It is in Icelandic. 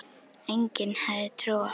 Enginn hafði trú á